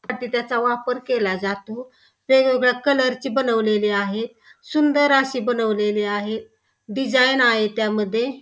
पाकीटाचा वापर केला जातो वेगवेगळ्या कलरचे बनवलेले आहेत सुंदर असे बनवलेले आहे डिझाईन आहे त्यामध्ये --